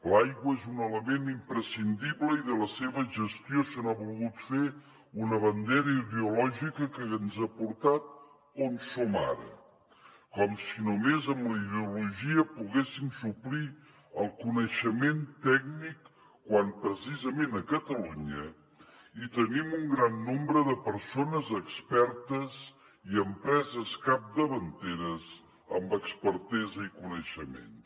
l’aigua és un element imprescindible i de la seva gestió se n’ha volgut fer una bandera ideològica que ens ha portat on som ara com si només amb la ideologia poguéssim suplir el coneixement tècnic quan precisament a catalunya hi tenim un gran nombre de persones expertes i empreses capdavanteres amb expertesa i coneixements